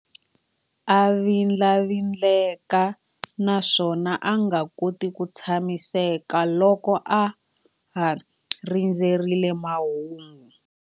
A vindlavindleka naswona a nga koti ku tshamiseka loko a ha rindzerile mahungu.